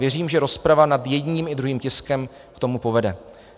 Věřím, že rozprava nad jedním i druhým tiskem k tomu povede.